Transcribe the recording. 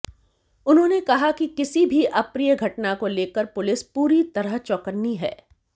उन्होंने कहा कि किसी भी अप्रिय घटना को लेकर पुलिस पूरी तरह चौकन्नी है